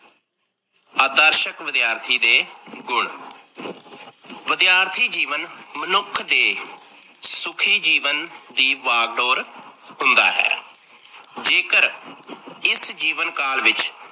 ਆਦਰਸ਼ਕ ਵਿਦਿਆਰਥੀ ਦੇ ਗੁਣ ਵਿਦਿਆਰਥੀ ਜੀਵਨ ਮਨੁੱਖ ਦੇ ਸੁਖੀ ਜੀਵਨ ਦੀ ਭਾਗ ਡੋਰ ਹੁੰਦਾ ਹੈ। ਜੇਕਰ ਇਸ ਜਿਵਨ ਕਾਲ ਵਿੱਚ